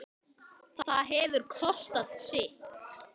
Það hefur kostað sitt.